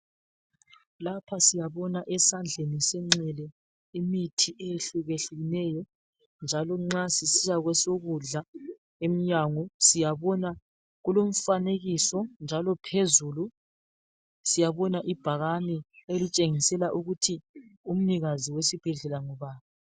Lapha siyabona esandleni senxele imithi eyehluke hlukeneyo njalo nxa sisiya kwesokudla emnyango kulomfanekiso njalo phezulu siyabona ibhakane elitshengisela ukuthi umnikazi wesibhedlela ngubani.